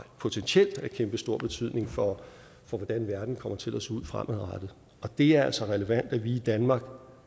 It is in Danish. potentielt af kæmpestor betydning for hvordan verden kommer til at se ud fremadrettet og det er altså relevant at vi i danmark